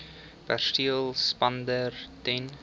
perseel spandeer ten